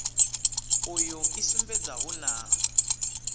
uyu i sumbedza hu na